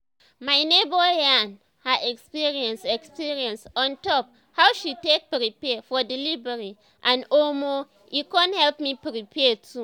my neighbor yarn her experience experience on top how she take prepare for delivery and omo e con help me prepare too